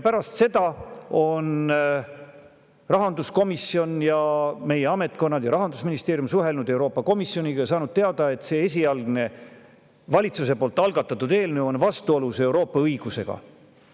Pärast seda on rahanduskomisjon ja meie ametkonnad, sealhulgas Rahandusministeerium, suhelnud Euroopa Komisjoniga ja saanud teada, et see esialgne valitsuse algatatud eelnõu on vastuolus Euroopa Liidu õigusega.